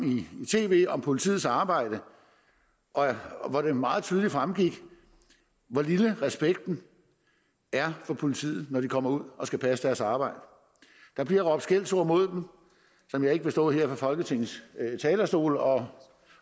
i tv om politiets arbejde hvor det meget tydeligt fremgik hvor lille respekten er for politiet når de kommer ud og skal passe deres arbejde der bliver råbt skældsord mod dem som jeg ikke vil stå her fra folketingets talerstol og